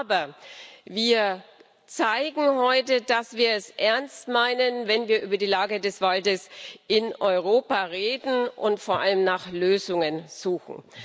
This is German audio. Aber wir zeigen heute, dass wir es ernst meinen, wenn wir über die Lage des Waldes in Europa reden und vor allem nach Lösungen suchen.